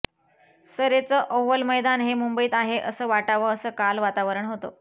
सरेचं Oval मैदान हे मुंबईत आहे असं वाटावं असं काल वातावरण होतं